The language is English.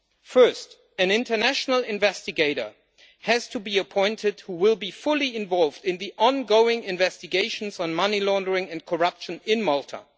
First, an international investigator has to be appointed who will be fully involved in the ongoing investigations on money laundering and corruption in Malta.